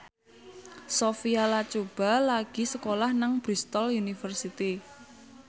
Sophia Latjuba lagi sekolah nang Bristol university